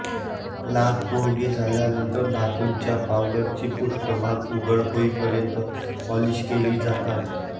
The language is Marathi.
लाख कोरडी झाल्यानंतर धातूच्या पावडरची पृष्ठभाग उघड होईपर्यंत पॉलिश केली जातात